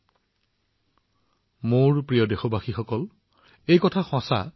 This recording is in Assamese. কৰোনাৰ বিৰুদ্ধে এই যুঁজত ৰক্ষা পোৱা সকলোৰে জীৱনত এম্বুলেন্স চালকসকলেও যথেষ্ট অৱদান আগবঢ়াইছে